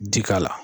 Ji k'a la